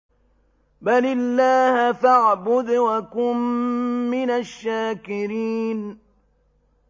بَلِ اللَّهَ فَاعْبُدْ وَكُن مِّنَ الشَّاكِرِينَ